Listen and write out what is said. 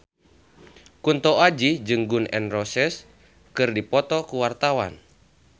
Kunto Aji jeung Gun N Roses keur dipoto ku wartawan